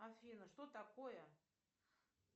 афина что такое